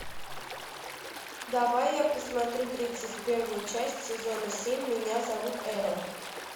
давай я посмотрю тридцать первую часть сезона семь меня зовут эрл